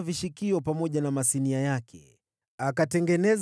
vishikio pamoja na masinia yake;